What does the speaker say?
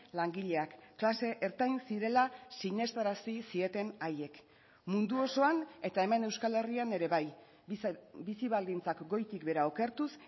langileak klase ertain zirela sinestarazi zieten haiek mundu osoan eta hemen euskal herrian ere bai bizi baldintzak goitik behera okertuz